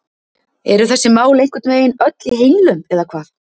Eru þessi mál einhvern veginn öll í henglum eða hvað?